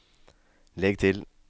legg til